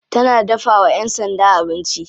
Tana dafawa yan sanda abinci.